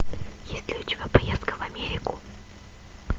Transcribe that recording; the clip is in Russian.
есть ли у тебя поездка в америку